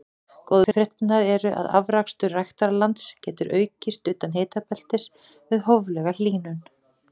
góðu fréttirnar eru að afrakstur ræktarlands getur aukist utan hitabeltis við hóflega hlýnun